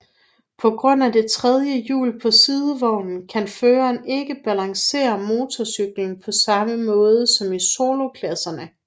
På grund af det tredje hjul på sidevognen kan føreren ikke balancere motorcyklen på samme måde som i soloklasserne